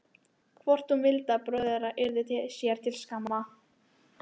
Hvort hún vildi að bróðir þeirra yrði sér til skammar?